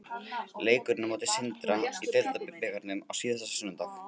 Leikurinn á móti Sindra í deildarbikarnum á síðasta sunnudag.